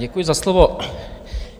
Děkuji za slovo.